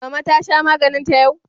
Mama ta sha maganinta yau?